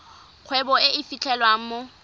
kgwebo e e fitlhelwang mo